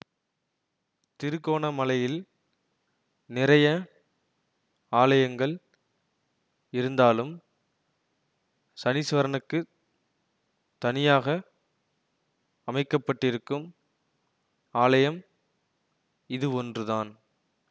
திருகோணமலையில் நிறைய ஆலயங்கள் இருந்தாலும் சனீஸ்வரனுக்குத் தனியாக அமைக்க பட்டிருக்கும் ஆலயம் இதுவொன்றுதான்